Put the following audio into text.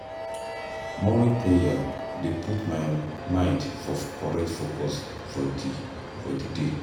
Morning prayer dey put my mind for correct focus for di for di day.